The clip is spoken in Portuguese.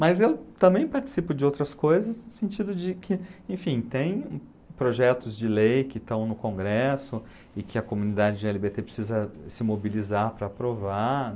Mas eu também participo de outras coisas no sentido de que, enfim, tem projetos de lei que estão no Congresso e que a comunidade de gê ele bê tê precisa se mobilizar para aprovar.